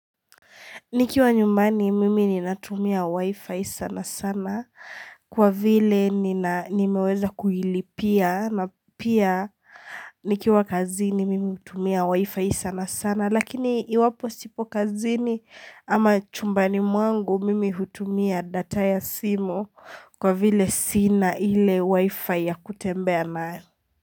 Nikiwa nyumbani mimi ninatumia wifi sana sana kwa vile nimeweza kuilipia na pia nikiwa kazini mimi hutumia wifi sana sana. Lakini iwapo sipo kazini ama chumbani mwangu, mimi hutumia data ya simu kwa vile sina ile wifi ya kutembea nayo.